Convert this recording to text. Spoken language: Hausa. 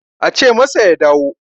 ace masa ya dawo